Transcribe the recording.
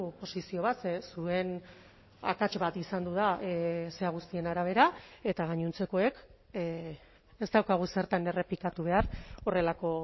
posizio bat zuen akats bat izan da zera guztien arabera eta gainontzekoek ez daukagu zertan errepikatu behar horrelako